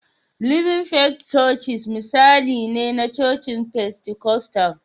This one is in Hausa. Living Faith chochice misali ne na cocin Pentikostal